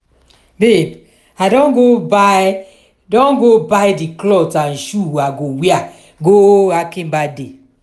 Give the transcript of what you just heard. babe i don go buy don go buy the cloth and shoe i go wear go akin birthday